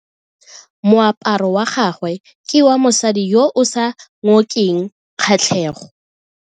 Moaparo wa gagwe ke wa mosadi yo o sa ngokeng kgatlhego.